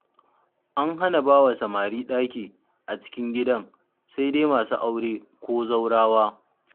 An hana bawa samari ɗaki a cikin gidan, sai dai masu aure ko zaurawa.